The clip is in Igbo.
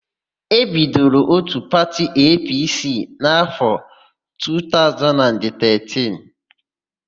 E bidoro òtù pati EePiiSii n'áfọ 2013.